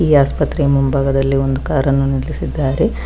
ಈ ಆಸ್ಪತ್ರೆಯ ಮುಂಭಾಗದಲ್ಲಿ ಒಂದು ಕಾರನ್ನು ನಿಲ್ಲಿಸಿದ್ದಾರೆ.